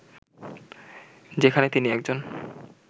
যেখানে তিনি একজন